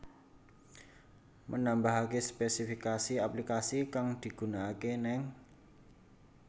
Menambahaké spesifikasi aplikasi kang digunakaké ning